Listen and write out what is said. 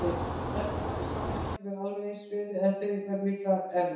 Kannski í mörg ár, það getur alveg eins verið- en þau verða líklega erfið.